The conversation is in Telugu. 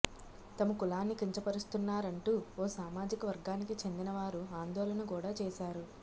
తమ కులాన్ని కించపరుస్తున్నారంటూ ఓ సామాజిక వర్గానికి చెందిన వారు ఆందోళన కూడా చేశారు